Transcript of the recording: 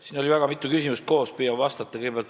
Siin oli väga mitu küsimust koos, püüan vastata.